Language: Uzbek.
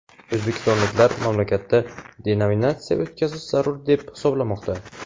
O‘zbekistonliklar mamlakatda denominatsiya o‘tkazish zarur deb hisoblamoqda.